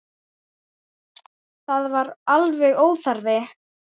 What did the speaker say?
Það var alveg óþarfi.